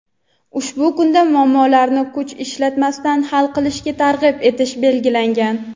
ushbu kunda muammolarni kuch ishlatmasdan hal qilishga targ‘ib etish belgilangan.